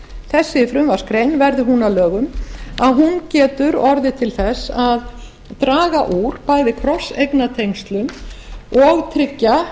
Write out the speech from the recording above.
þessi frumvarpsgrein verði hún að lögum geti orðið til þess að draga úr bæði krosseignatengslum og tryggja